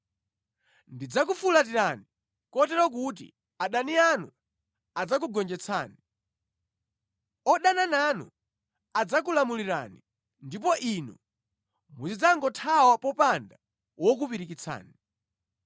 Ndidzakufulatirani, kotero kuti adani anu adzakugonjetsani. Odana nanu adzakulamulirani ndipo inu muzidzagothawa popanda wokupirikitsani.